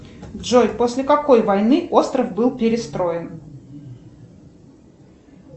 джой после какой войны остров был перестроен